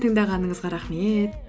тыңдағаныңызға рахмет